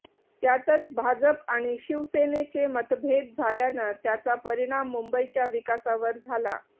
त्यातच भाजप आणि शिवसेनेचे मतभेद झाल्यानं त्याचा परिणाम मुंबईच्या विकासावर झाला